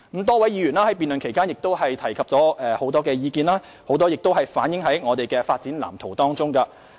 多位議員在辯論期間提出很多意見，當中不少已反映於我們的《發展藍圖》中。